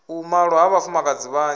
u malwa ha vhafumakadzi vhanzhi